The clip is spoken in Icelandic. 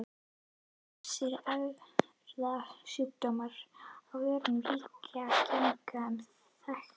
Ýmsir erfðasjúkdómar af völdum ríkjandi gena eru líka þekktir.